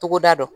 Togoda don